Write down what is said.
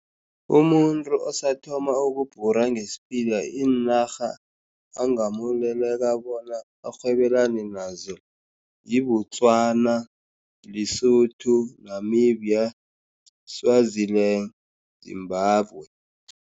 Umuntu osathoma ukubhura ngesiphila, iinarha angamukeleka bona arhwebelane nazo yi-Botswana, Lesotho, Namibia, Swaziland, Zimbabwe.